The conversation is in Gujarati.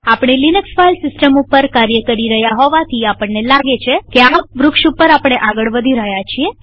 આપણે લિનક્સ ફાઈલ સિસ્ટમ ઉપર કાર્ય કરી રહ્યા હોવાથી આપણને લાગે છે કે આ વૃક્ષટ્રી ઉપર આપણે આગળ વધી રહ્યા છીએ